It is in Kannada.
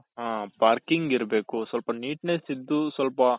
ಹ parking ಇರ್ಬೇಕು ಸ್ವಲ್ಪ neatness ಇದ್ದು ಸ್ವಲ್ಪ